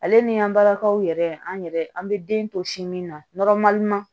Ale ni an balakaw yɛrɛ an yɛrɛ an bɛ den to sin min na